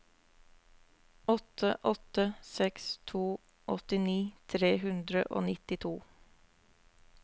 åtte åtte seks to åttini tre hundre og nittito